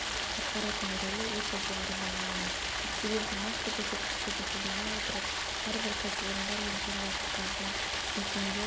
атқаратын рөлі өте жоғары бағаланады себебі нақты көрсеткіштерді қолдана отырып әрбір кәсіпорындар мен шаруашылықтардың мекемелер